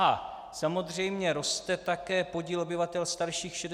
A samozřejmě roste také podíl obyvatel starších 65 let.